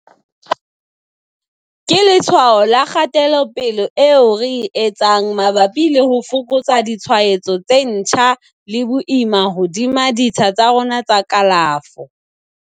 Ke letshwao la kgatelopele eo re e etsang mabapi le ho fokotsa ditshwaetso tse ntjha le boima hodima ditsha tsa rona tsa kalafo.